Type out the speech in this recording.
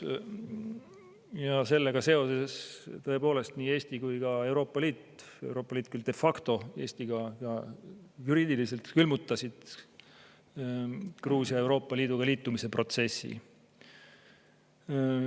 Ja sellega seoses tõepoolest nii Eesti kui ka Euroopa Liit – Euroopa Liit küll de facto, Eesti ka juriidiliselt – külmutasid Gruusia Euroopa Liiduga liitumise protsessi.